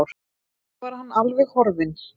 Svo var hann alveg horfinn.